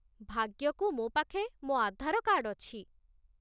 ଭାଗ୍ୟକୁ ମୋ ପାଖେ ମୋ ଆଧାର କାର୍ଡ଼ ଅଛି ।